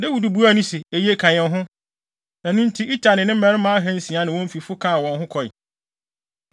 Dawid buaa no se, “Eye, ka yɛn ho.” Ɛno nti, Itai ne ne mmarima ahansia ne wɔn fifo kaa wɔn ho kɔe.